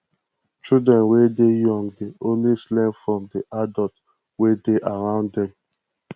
children wey dey young dey always learn from di adult wey dey around them